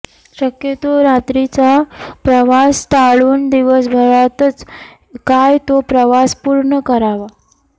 शक्यतो रात्रीचा प्रवास टाळून दिवसभरातच काय तो प्रवास पूर्ण करावा